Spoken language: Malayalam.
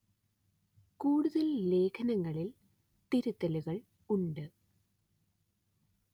കൂടുതല്‍ ലേഖനങ്ങളില്‍ തിരുത്തലുകള്‍ ഉണ്ട്